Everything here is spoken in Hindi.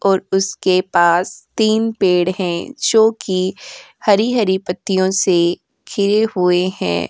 और उसके पास तीन पेड़ हैं जो कि हरी-हरी पत्तियों से खिरे हुए हैं।